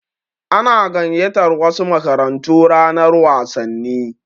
Ana gayyatar wasu makarantu ranar wasanni.